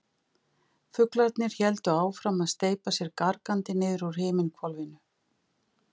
Fuglarnir héldu áfram að steypa sér gargandi niður úr himinhvolfinu.